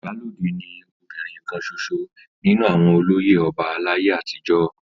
Ìyálode ni obìnrin kan ṣoṣo nínú àwọn olóyè ọba láyé àtijọ́.